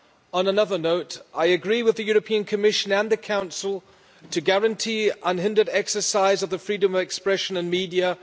On another note, I agree with the European Commission and the Council on guaranteeing unhindered exercise of the freedom of expression and media.